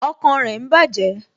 Ọkàn rẹ ń bàjẹ́